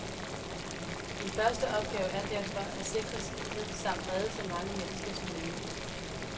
Din første opgave er derfor at sikre skibet samt redde så mange mennesker som muligt.